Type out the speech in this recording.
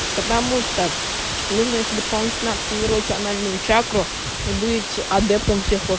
потому что нужно ещё дополнительно активировать анальную чакру и быть адептом всех лох